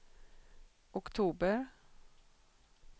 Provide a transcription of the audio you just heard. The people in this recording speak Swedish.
oktober